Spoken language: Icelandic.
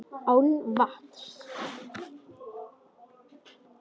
Án vatns.